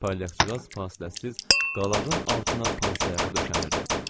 Palyaçıqaz fasiləsiz qalağın altına pansayağı döşənirdi.